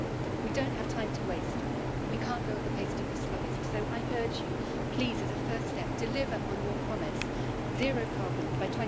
We don't have time to waste, and we can't go at the pace of the slowest. So I urge you, please, as a first step, deliver on your promise zero carbon by